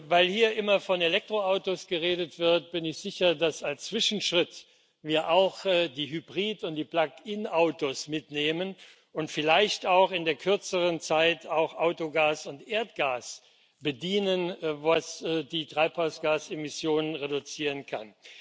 Weil hier immer von Elektroautos geredet wird, bin ich sicher, dass wir als Zwischenschritt auch die Hybrid und die Plug in Autos mitnehmen und vielleicht in der kürzeren Zeit auch Autogas und Erdgas bedienen, was die Treibhausgasemissionen reduzieren kann.